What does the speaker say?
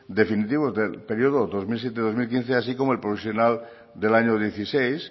definitivos del periodo dos mil siete dos mil quince así como el provisional del año dieciséis